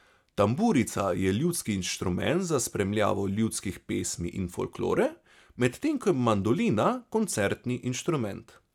Tamburica je ljudski inštrument za spremljavo ljudskih pesmi in folklore, medtem ko je mandolina koncertni inštrument.